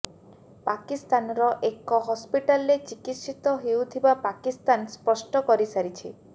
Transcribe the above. ପାକିସ୍ତାନର ଏକ ହସ୍ପିଟାଲରେ ଚିକିତ୍ସିତ ହେଉଥିବା ପାକିସ୍ତାନ ସ୍ପଷ୍ଟ କରି ସାରିଛି